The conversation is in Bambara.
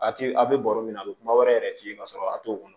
A ti a bɛ baro min na a be kuma wɛrɛ yɛrɛ f'i ye ka sɔrɔ a t'o kɔnɔ